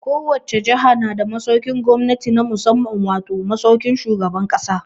Ko wace jaha na da masaukin gwamnati na musamman wato, masaukin shugaban ƙasa.